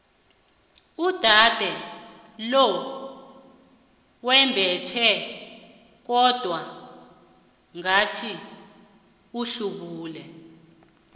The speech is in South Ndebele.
uudade lo wembethe kodwana ngathi uhlubule